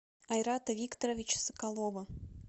айрата викторовича соколова